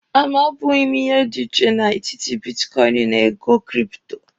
A mabughi m ihe dị iche n'etiti bitkọịnị na ego kripto.